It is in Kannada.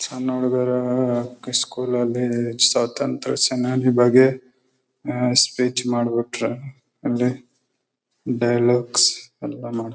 ಕನ್ನಡದವರು ಅಲ್ಲಿ ಸ್ವತಂತ್ರ ಸೇನಾದಿ ಬಗ್ಗೆ ಸ್ಪೀಚ್ ಮಾಡ್ಬಿಟ್ರೆ ಅಲ್ಲಿ ಡೈಲಾಗ್--